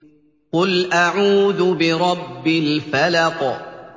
قُلْ أَعُوذُ بِرَبِّ الْفَلَقِ